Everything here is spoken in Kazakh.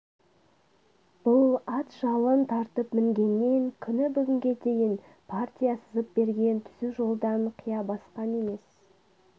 бұл ат жалын тартып мінгеннен күні бүгінге дейін партия сызып берген түзу жолдан қия басқан емес